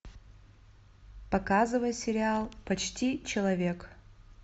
показывай сериал почти человек